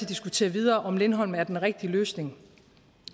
diskutere videre om lindholm er den rigtige løsning